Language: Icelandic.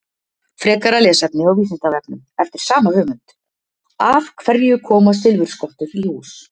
Frekara lesefni á Vísindavefnum eftir sama höfund: Af hverju koma silfurskottur í hús?